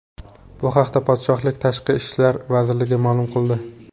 Bu haqda podshohlik Tashqi ishlar vazirligi ma’lum qildi .